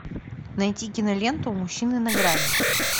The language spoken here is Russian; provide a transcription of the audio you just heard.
найти киноленту мужчины на грани